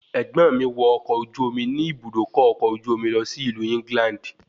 Ẹ̀gbọ́n mi wọ ọkọ̀ ojú omi ní Ibùdókọ̀ ọkọ̀ ojú omi lọ sí ìlú England